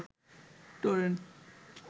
torrent